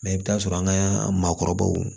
Mɛ i bɛ taa sɔrɔ an ka maakɔrɔbaw